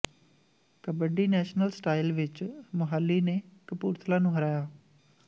kabaddi national style ਵਿੱਚ ਮੁਹਾਲੀ ਨੇ ਕਪੂਰਥਲਾ ਨੂੰ ਹਰਾਇਆ